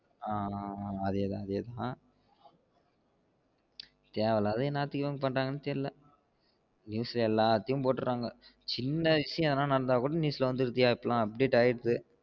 ஆமா ஆமா அதே தான் அதே தான் தேவை இல்லாதத எனத்துக்கு பண்றங்கனு தெரில்ல news ல எல்லாத்தையும் போட்டுரங்க சின்ன விசியம் நடந்த கூட news ல வந்திருதைய இப்ப எல்லாம் update ஆயிடுது